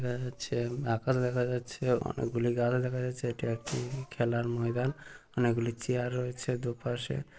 দেখা যাচ্ছে আকাশ দেখা যাচ্ছে অনেকগুলি গাছ দেখা যাচ্ছে এটি একটি খেলার ময়দান অনেকগুলি চেয়ার রয়েছে দুপাশে ।